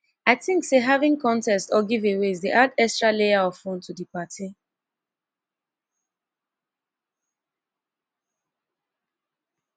i think say having contests or giveaways dey add extra layer of fun to di party